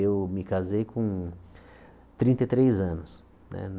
Eu me casei com trinta e três anos né.